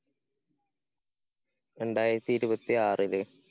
രണ്ടായിരത്തി ഇരുപത്തിയാറില്.